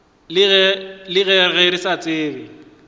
le ge re sa tsebe